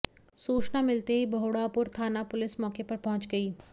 सूचना मिलते ही बहोड़ापुर थाना पुलिस मौके पर पहुंच गई